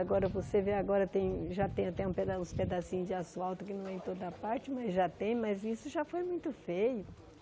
Agora você vê, agora tem já tem até um peda uns pedacinhos de asfalto que não é em toda parte, mas já tem, mas isso já foi muito feio.